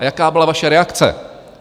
A jaká byla vaše reakce?